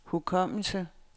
hukommelse